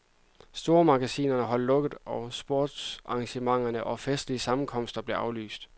Stormagasiner holdt lukket, og sportsarrangementer og festlige sammenkomster blev aflyst.